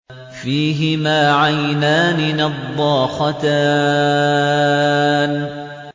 فِيهِمَا عَيْنَانِ نَضَّاخَتَانِ